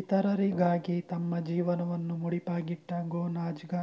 ಇತರರಿಗಾಗಿ ತಮ್ಮ ಜೀವನವನ್ನು ಮುಡಿಪಾಗಿಟ್ಟ ಗೊನ್ಜಾಗ